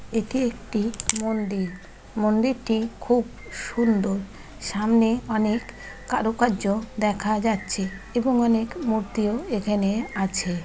এটি একটি মন্দির মন্দিরটি খুব সুন্দরসামনে অনেক কারুকার্য দেখা যাচ্ছে এবং অনেক মূর্তিও এখানে আছে।